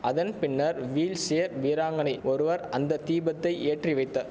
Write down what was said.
அதன் பின்னர் வீல்சேர் வீராங்கனை ஒருவர் அந்த தீபத்தை ஏற்றி வைத்த